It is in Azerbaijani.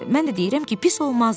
Mən də deyirəm ki, pis olmazdı.